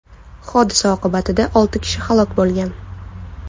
Hodisa oqibatida olti kishi halok bo‘lgan.